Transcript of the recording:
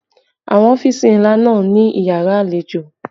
Àwọn ọ́fìsì ńlá náà ní yàrá àlejò